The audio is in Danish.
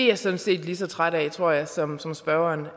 jeg sådan set lige så træt af tror jeg som som spørgeren